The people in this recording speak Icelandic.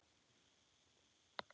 Linda: Já, ertu löngu viss?